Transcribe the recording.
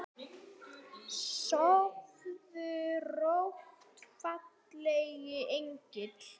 Sofðu rótt fallegi engill.